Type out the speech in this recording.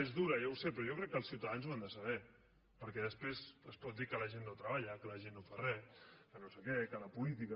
és dura ja ho sé però jo crec que els ciutadans ho han de saber perquè després es pot dir que la gent no treballa que la gent no fa re que no sé què que la política